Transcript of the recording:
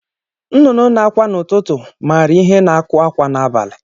Nnụnụ na-akwa n'ụtụtụ maara ihe na-akụ akwa n'abalị.